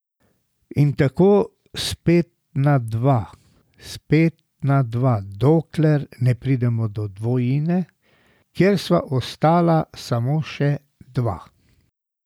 In tako spet na dva, spet na dva, dokler ne pridemo do dvojine, kjer sva ostala samo še dva.